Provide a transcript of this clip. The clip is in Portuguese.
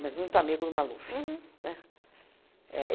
mas muito amigo do Maluf, né, é